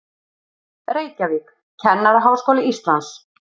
Reykjavík, Kennaraháskóli Íslands.